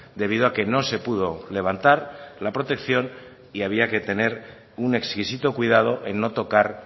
debido a que no se pudo levantar la protección y había que tener un exquisito cuidado en no tocar